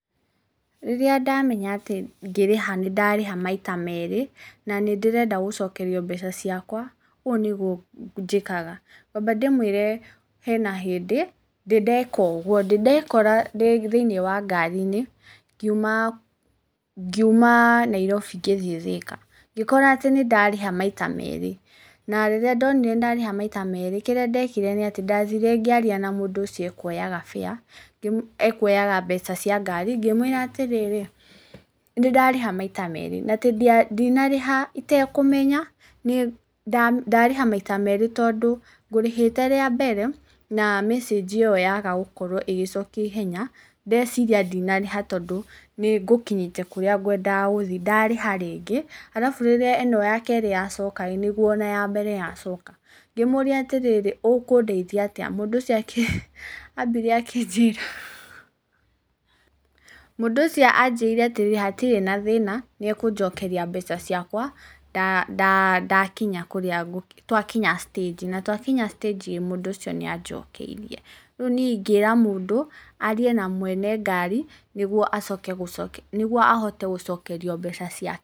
Rĩrĩa ndamenya atĩ ngĩrĩha nĩndarĩha maita merĩ, na nĩndĩrenda gũcokerio mbeca ciakwa, ũũ nĩguo njĩkaga. Ngwamba ndĩmwĩre, hena hĩndĩ ndĩndeka ũguo. Ndĩndekora ndĩthĩinĩ wa ngari-inĩ, ngiuma Nairobi ngĩthiĩ Thĩka. Ngĩkora atĩ nĩndarĩha maita merĩ, na rĩrĩa ndonire nĩndarĩha maita merĩ, kĩrĩa ndekire nĩatĩ ndathire ngĩaria na mũndũ ũcio ũkuioyaga fare ekuoyaga mbeca cia ngari, ngĩmwĩra atĩrĩrĩ, nĩndarĩha maita merĩ, na ndinarĩha itekũmenya, ndarĩha maita merĩ tondũ ngũrĩhĩte rĩambere, na mecĩnji ĩyo yaga gũkorwo ĩgĩcokio ihenya, ndeciria ndinarĩha tondũ nĩngũkinyĩte kũrĩa ngwendaga gũthiĩ, ndarĩha rĩngĩ, arabu rĩrĩa ĩno yakerĩ yacokarĩ, nĩguo ona yambere yacoka ngĩmũria atĩrĩrĩ, ũkũndaithia atĩa? Mũndũ ũcio ambire akĩnjĩra Mũndũ ũcio anjĩrire atĩrĩrĩ, hatirĩ na thĩna, nĩekũnjokeria mbeca ciakwa, twakinya citĩnji, na twakinya citĩnjiĩ, mũndũ ũcio nĩanjokeirie. Rĩu niĩ ingĩra mũndũ, arie na mwene ngari, nĩguo acoke, nĩguo ahote gũcokerio mbeca ciake.